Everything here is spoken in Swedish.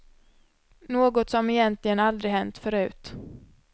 Något som egentligen aldrig hänt förut.